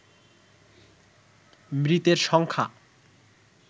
মৃতের সংখ্যা